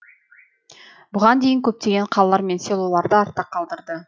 бұған дейін көптеген қалалар мен селоларды артта қалдырды